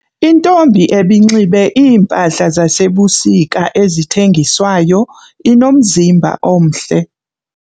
Intombi ebinxibe iimpahla zasebusika ezithengiswayo inomzimba omhle.